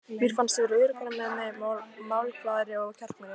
Mér fannst ég verða öruggari með mig, málglaðari og kjarkmeiri.